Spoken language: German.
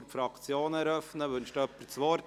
Wünscht jemand das Wort?